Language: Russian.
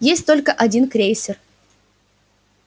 есть только один крейсер